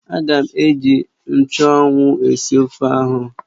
Ága m eji nchụ́anwu esi ofe ahụ